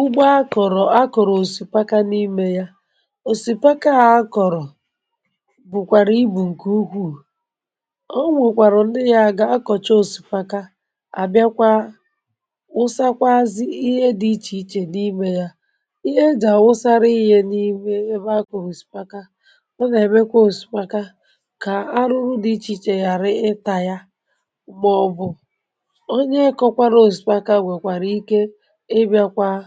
Ụgbọ akọ̀rọ̀ akọ̀rọ̀ òsìpàkà, n’ìmē yà, um òsìpàkà akọ̀rọ̀ bụ̀kwàrà ibu ǹkè ukwù. Ọ nwòkwàrò nē yà gà-akọ̀cha òsìpàkà, à bịakwà... wụsakwazị ihe dị iche iche n’ìmē yà. Ihé ejà wụsàrà inye n’ìmē ebe akọ̀rọ̀ òsìpàkà, ọ nà-èmekwà òsìpàkà kà arụ̀rụ̀ dị iche iche ghàrà ịtȧ ya. Mgbe ọ̀ bụ̀ um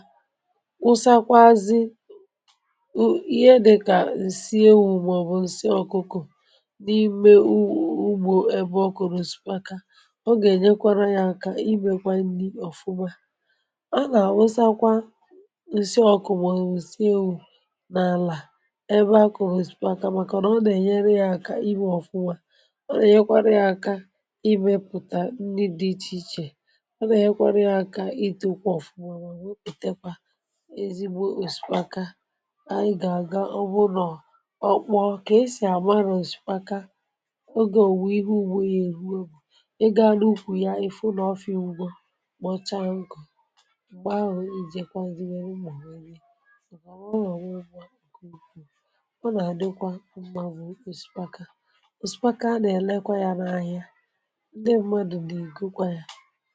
ụsàkwà azị̀u, ihe dị kà ǹsị ewu̇, bụ̀ ǹsị ọkụkụ, n’ìmē ugbò ebe ọ kụ̀rụ̀... sị̀kàkà,(um) ọ gà-ènyekwárà ya aka ịmēkwa nri ọ̀fụma. À nà-àwụsakwà(um) ǹsị̀ ọkụ, bụ̀ ǹsị̀ ewu̇, n’àlà ebe akùghì sị̀kàkà, màkà nà ọ nà-ènyere ya aka iwē ọ̀fụma. Ọ nà-ènyekwàrà ya aka ịmēpụ̀tà ndị dị iche iche ezigbo òsìpàkà. Ànyị gà-àga, ọ bụ̀ nọ̀, ọ kpọ̀ kà esì àma n’òsìpàkà. Ògé.. òwù, ihe ugbo, ihe èhù egbu, ị gàdị ukwù yà. Ị̀ hụ nà ọfị̀ ugbo mọ́chá um nkụ̀, mgbè ahụ̀, ì jèkwà nzì, nwèrè mmà, nwèrè mmā, ọ nà-àdịkwà mmā, bụ̀ nkwà òsìpàkà. Òsìpàkà à nà-èlekwa yà n’ahịa, ndị mmadụ̀ dì, ì gọkwà yà.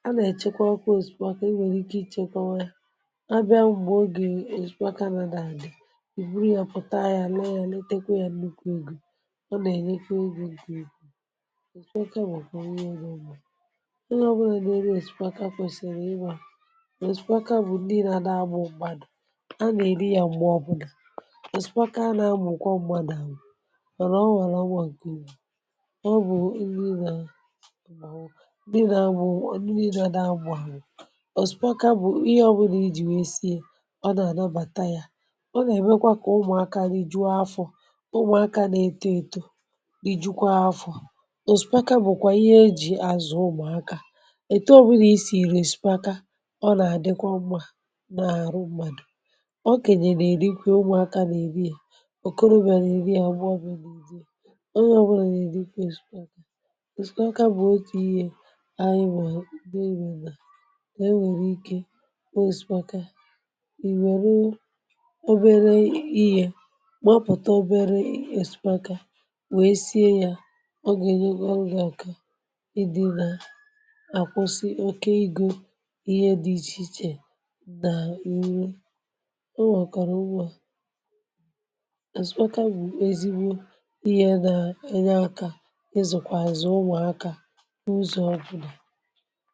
À nà-èchekwa ọ̀kụ̀ òsìpàkà iwèrè ike, ichèkwà yà, àbịa mgbè ògé òsìkwà nà-dà. Àdị̀ ì buru yà, pụta yà, lọọ yà, letekwa yà n’ùkò ìgì. Ọ nà-ènyekwa egò ùkò ìgì. Òsìkwà nà òkwò nwee yà um n’ugbo. Ị yà, ọ bụrụ nà ènùị, èsìkwà kwèsìrì ịrā. Òsìkwà bụ̀ ndị nà-àdà, bụ̀ mgbàdò à nà-èri yà. Mgbè.. ọbụ̀dà òsìkwà nà-abụ̀ ǹkwọ̀ mgbàdò, àhụ̀ wàrà, ọ nwàrà, ọgbụ̇ àkè ịrā. Ọ bụ̀ ndị inàị̇, bụ̀ ndị inàị̇ um dàà mgbụ̇ àrụ̀. Ọ nà-àlabàtà ya. Ọ nà-èmekwà kà ụmụ̀akà nà ìjụ́àfọ̀, ụmụ̀akà na-eto, ètò, ìjụkwa afọ̇. Òsìkàkà...bụ̀kwà ihe ejì àzụ̀ ụmụ̀akà ètò. Ọbụrụ̀ i sìrì sị̀kàkà, ọ nà-àdịkwà mmā n’àrụ̀ mmadụ̀. Ọ kènyè nà-èrikwè, ụmụ̀akà nà-èbi ya. Ọ̀kọ̀rò mèrè èri ya gba bụ̇bu, ụdị̇ o nwèrè. Yà èrikwà òsìkàkà bụ̀ otu ihé ànyị mà... È nwèrè ike ìwèrù obere ihé, màpụ̀tà obere èsùpàkà, wèe sīe yà. Ọ gà-ènyekwa ọrụ̇, gà-àkà ịdị̇ nà àkwụsị oke. Egò, ihe dị iche iche, nà ùwè ọ̀kàrà ugbò. Àsùpàkà um bụ̀ ezigbo ihé nà-ènye akà, ịzụ̀kwàzị̀ ụmụ̀akà um n’ụzọ̇ ọbụla.